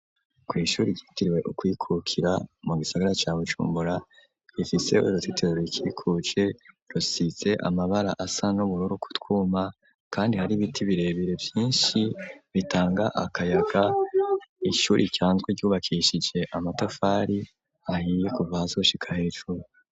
Kw ishuri ryitirwe kwikukira mu gisagara ca Bujumbura gifiseho iruzitiro rukikuje rusize amabara asa n'ubururu kutwuma kandi hari ibiti birebire vyinshi bitanga akayaga. Ishuri risanzwe ryubakishije amatafari ahiye kuva hasi gushika hejuru.